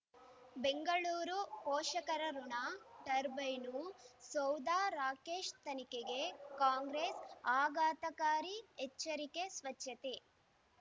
ಬೆಂಗಳೂರು ಪೋಷಕರಋಣ ಟರ್ಬೈನು ಸೌಧ ರಾಕೇಶ್ ತನಿಖೆಗೆ ಕಾಂಗ್ರೆಸ್ ಆಘಾತಕಾರಿ ಎಚ್ಚರಿಕೆ ಸ್ವಚ್ಛತೆ